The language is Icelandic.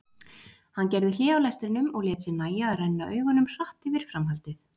Hann gerði hlé á lestrinum og lét sér nægja að renna augunum hratt yfir framhaldið.